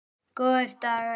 Góðir dagar.